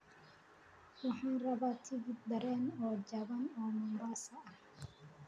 Waxaan rabaa tigidh tareen oo jaban oo Mombasa ah